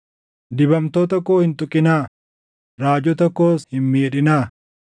“Dibamtoota koo hin tuqinaa; raajota koos hin miidhinaa.”